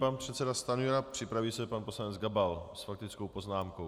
Pan předseda Stanjura, připraví se pan poslanec Gabal s faktickou poznámkou.